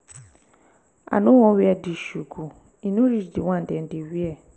i no wan wear dis shoe go e no reach the one dem dey wear.